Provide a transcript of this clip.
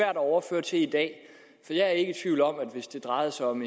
at overføre til i dag jeg er ikke i tvivl om at hvis det drejede sig om